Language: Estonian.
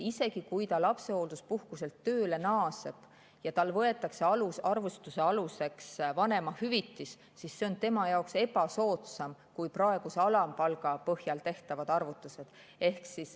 Isegi kui ta lapsehoolduspuhkuselt tööle naaseb ja tal võetakse arvutuse aluseks vanemahüvitis, siis see on tema jaoks ebasoodsam kui praeguse alampalga põhjal tehtavad arvutused.